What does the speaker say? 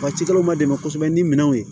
Waatikɛlaw ma dɛmɛ kosɛbɛ ni minɛnw ye